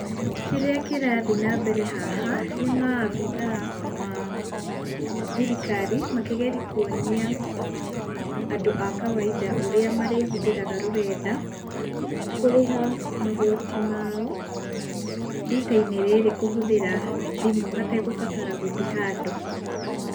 Kĩrĩa kĩrathiĩ na mbere haha nĩ maabithaa a thirikari, makigeria kuonia andũ a kawainda ũrĩa marĩhũthĩraga rũrenda, kũrĩha magoti mao rita-inĩ rĩrĩ kũhũthĩra thimũ hategũbatara gũthiĩ handũ.